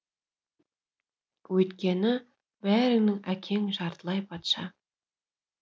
өйткені бәріңнің әкең жартылай патша